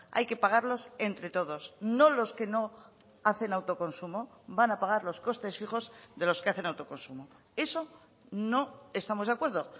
hay que pagarlos entre todos no los que no hacen autoconsumo van a pagar los costes fijos de los que hacen autoconsumo eso no estamos de acuerdo